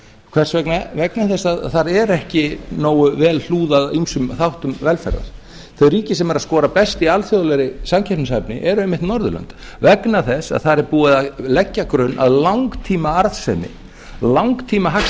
hvers vegna vegna þess að þar er ekki nógu vel hlúð að ýmsum þáttum velferðar þau ríki sem eru að skora best í alþjóðlegri samkeppnishæfni eru einmitt norðurlönd vegna þess að þar er búið að leggja grunn að langtímaarðsemi langtíma hagstæðum kapítalisma